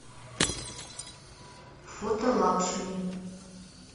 фото лакшми